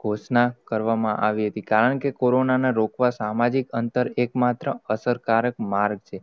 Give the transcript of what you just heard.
ઘોષણા કરવામાં આવી હતી. કારણકે કોરોના ને રોકવા સામાજિક અંતર એક માત્ર, અસર કર્ક માર્ગ છે.